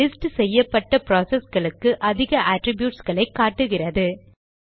list செய்யப்பட்ட ப்ராசஸ்களுக்கு அதிக அட்ரிப்யூட்ஸ் களை காட்டுகிறது